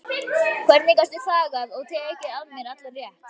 Hvernig gastu þagað og tekið af mér allan rétt?